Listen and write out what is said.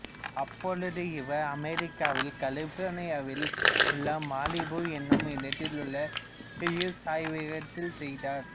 அப்பொழுது இவர் அமெரிக்காவில் கலிபோர்னியாவில் உள்ள மாலிபு என்னும் இடத்தில் உள்ள ஹியூஸ் ஆய்வகத்தில் செய்தார்